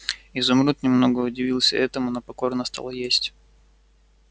изумруд немного удивился этому но покорно стал есть